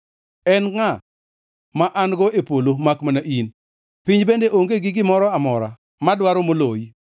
En ngʼa ma an-go e polo makmana in? Piny bende onge gi gimoro amora madwaro moloyi.